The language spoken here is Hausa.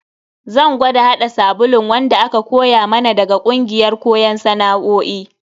Zan gwada hada sabulun wanda aka koya mana daga kungiyar koyon sana'o'i.